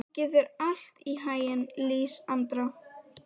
Gangi þér allt í haginn, Lísandra.